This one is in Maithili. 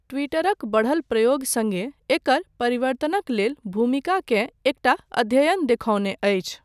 टि्वटरक बढल प्रयोग सङ्गे एकर परिवर्तनक लेल भूमिकाकेँ एकटा अध्ययन देखौने अछि।